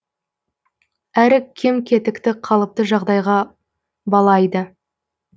әрі кем кетікті қалыпты жағдайға балайды